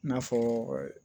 I n'a fɔɔ